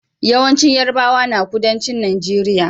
Yawancin yarabawa na kudancin nageria